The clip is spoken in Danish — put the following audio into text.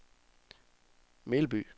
Melby